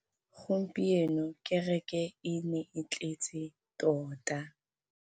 Gompieno kêrêkê e ne e tletse tota.